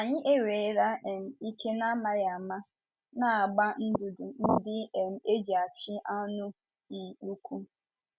Ànyị enwere um ike n’amaghị ama “ na- agba ndụdụ ndị um e ji achị anụ um ụkwụ ”?